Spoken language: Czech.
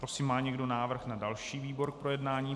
Prosím, má někdo návrh na další výbor k projednání?